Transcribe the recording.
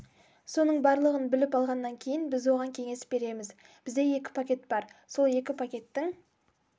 соның барлығын біліп алғаннан кейін біз оған кеңес береміз бізде екі пакет бар сол екі пакеттің